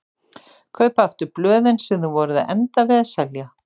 Kaupa aftur blöðin sem þið voruð að enda við að selja!